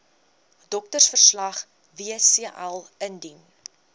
doktersverslag wcl indien